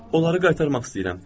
Onları qaytarmaq istəyirəm.